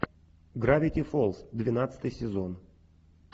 гравити фолз двенадцатый сезон